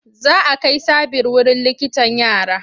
Za a kai Sabir wurin likitan yara.